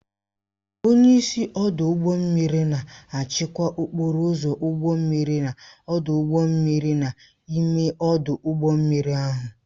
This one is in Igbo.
Onyeisi Ọdụ ụgbọ mmiri na-achịkwa okporo ụzọ ụgbọ mmiri na ọdụ ụgbọ mmiri n'ime ọdụ ụgbọ mmiri ahụ